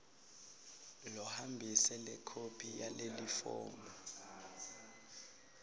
lohambise lekhophi yalelifomu